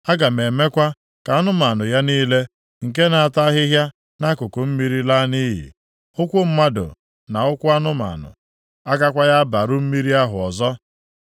Aga m emekwa ka anụmanụ ya niile, nke na-ata ahịhịa nʼakụkụ mmiri laa nʼiyi. Ụkwụ mmadụ, na ụkwụ anụmanụ agakwaghị agbarụ mmiri ahụ ọzọ.